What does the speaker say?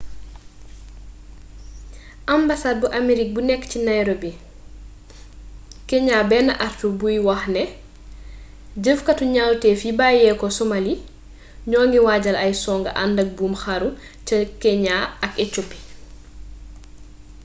ambasaad bu aamerig bu nekk ci nairobi keeñaa benn artu buy wax ne jëfkaatu ñawtef yi bàyyeeko somali'' ñoo ngi waajal ay songu àndak buum xaru ca keeñaa ak ecoopi